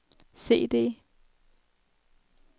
CD